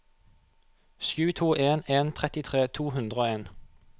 sju to en en trettitre to hundre og en